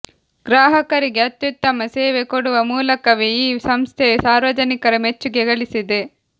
ಗ್ರಾಹಕರಿಗೆ ಅತ್ಯುತ್ತಮ ಸೇವೆ ಕೊಡುವ ಮೂಲಕವೇ ಈ ಸಂಸ್ಥೆಯು ಸಾರ್ವಜನಿಕರ ಮೆಚ್ಚುಗೆ ಗಳಿಸಿದೆ